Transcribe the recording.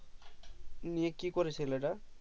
ইয়ে কি করে ছেলে তা